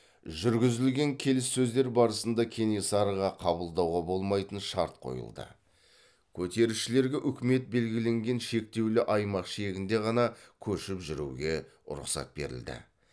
жүргізілген келіссөздер барысында кенесарыға қабылдауға болмайтын шарт қойылды көтерілісшілерге үкімет белгіленген шектеулі аймақ шегінде ғана көшіп жүруге рұқсат берілді